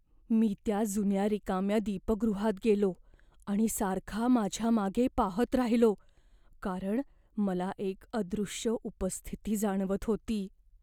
मी त्या जुन्या रिकाम्या दीपगृहात गेलो आणि सारखा माझ्या मागे पाहत राहिलो, कारण मला एक अदृश्य उपस्थिती जाणवत होती.